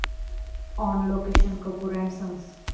on location 'Kapoor and sons'